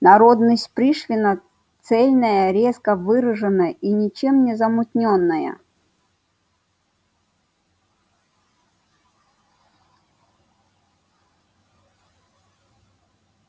народность пришвина цельная резко выражена и ничем не замутнённая